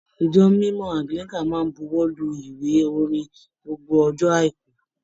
Ijọ̀ mímọ Anglican máa n bùwọ́lù ìwé orin ni gbogbo ọjọ aiku.